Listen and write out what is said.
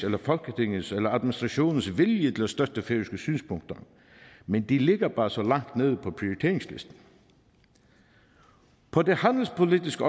eller folketingets eller administrationens vilje til at støtte færøske synspunkter men de ligger bare så langt nede på prioriteringslisten på det handelspolitiske